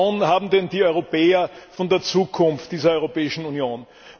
Welche Vision haben denn die Europäer von der Zukunft dieser Europäischen Union?